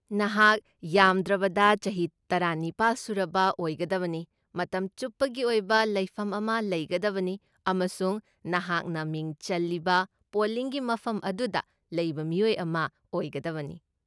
ꯅꯍꯥꯛ ꯌꯥꯝꯗ꯭ꯔꯕꯗ ꯆꯍꯤ ꯇꯔꯥꯅꯤꯄꯥꯜ ꯁꯨꯔꯕ ꯑꯣꯏꯒꯗꯕꯅꯤ, ꯃꯇꯝ ꯆꯨꯞꯄꯒꯤ ꯑꯣꯏꯕ ꯂꯩꯐꯝ ꯑꯃ ꯂꯩꯒꯗꯕꯅꯤ, ꯑꯃꯁꯨꯡ ꯅꯍꯥꯛꯅ ꯃꯤꯡ ꯆꯜꯂꯤꯕ ꯄꯣꯂꯤꯡꯒꯤ ꯃꯐꯝ ꯑꯗꯨꯗ ꯂꯩꯕ ꯃꯤꯑꯣꯏ ꯑꯃ ꯑꯣꯏꯒꯗꯕꯅꯤ꯫